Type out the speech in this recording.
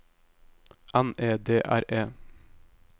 N E D R E